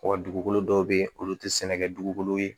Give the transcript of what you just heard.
Wa dugukolo dɔw bɛ yen olu tɛ sɛnɛ kɛ dugukolo ye